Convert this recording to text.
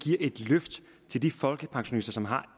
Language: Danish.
giver et løft til de folkepensionister som har